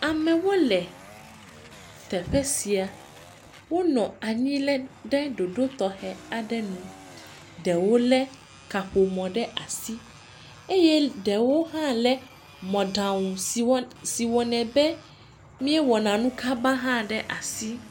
Amewo le teƒe sia. Wonɔ anyi lɛ, ɖe ɖoɖo tɔxɛ aɖe nu. Ɖewo lé kaƒomɔ ɖe asi eye ɖewo lé si wɔnɛ, si wɔnɛ be míewɔna nu kaba hã ɖe asi.